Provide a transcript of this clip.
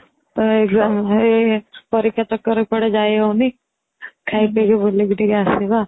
exam ଏଇ ପରୀକ୍ଷା ଚାକରରେ କୁଆଡେ ଯାଇ ହଉନି ଖାଇ ପିଇକି ବୁଲିକି ଟିକେ ଆସିବା